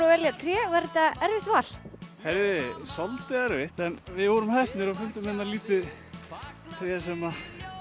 að velja tré var þetta erfitt val heyrðu svolítið erfitt en við vorum heppnir og fundum hérna lítið tré sem